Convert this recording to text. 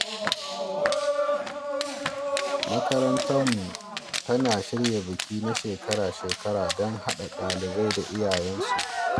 Makarantarmu tana shirya biki na shekara-shekara don hada dalibai da iyayensu.